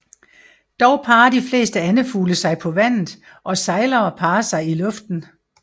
Dog parrer de fleste andefugle sig på vandet og sejlere parrer sig i luften